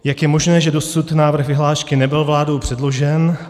Jak je možné, že dosud návrh vyhlášky nebyl vládou předložen?